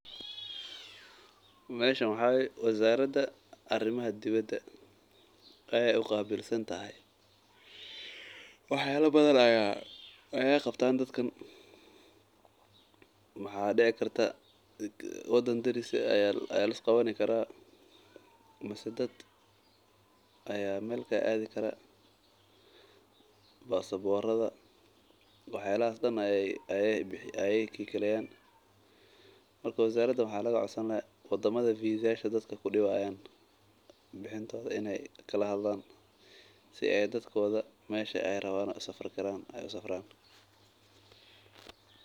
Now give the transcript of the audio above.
Meeshan waxaa waye wazarada arimaha dibada wax yaaba badan ayeey qabtaan, wadan daris ah ayaa lis qabani karaa ama dad ayaa meel usafri karaa marka wadamaha is adkeynayo ayeey la hadlayaan si aay dadka meesha aay rabaan ugu safraan.